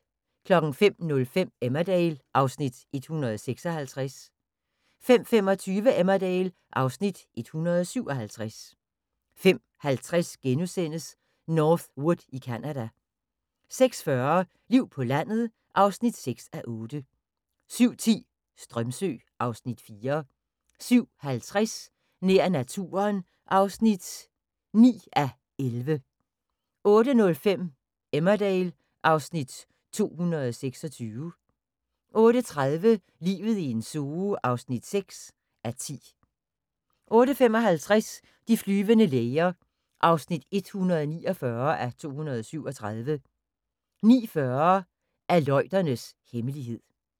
05:05: Emmerdale (Afs. 156) 05:25: Emmerdale (Afs. 157) 05:50: North Wood i Canada * 06:40: Liv på landet (6:8) 07:10: Strömsö (Afs. 4) 07:50: Nær naturen (9:11) 08:05: Emmerdale (Afs. 226) 08:30: Livet i en zoo (6:10) 08:55: De flyvende læger (149:237) 09:40: Aleuternes hemmelighed